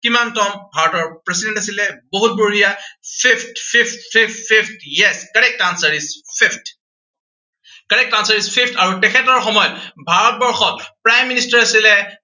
কিমানতম ভাৰতৰ president আছিলে। বহুত বঢ়িয়া fifth fifth fifth fifth yes, correct answer is fifth correct answer is fifth আৰু তেখেতৰ সময়ত ভাৰতবৰ্ষত Prime Minister আছিলে